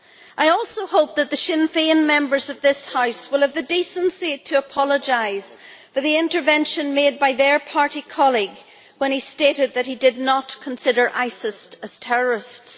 I also hope that the Sinn Féin Members of this House will have the decency to apologise for the intervention made by their party colleague when he stated that he did not consider ISIS to be terrorists.